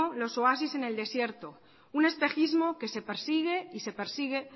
los oasis en el desierto un espejismo que se persigue y se persigue